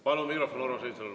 Palun mikrofon Urmas Reinsalule.